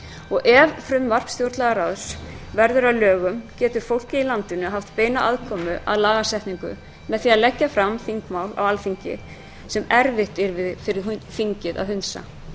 og ef frumvarp stjórnlagaráðs verður að lögum getur fólkið í landinu haft beina aðkomu að lagasetningu með því að leggja fram þingmál á alþingi sem erfitt yrði fyrir þingið að hundsa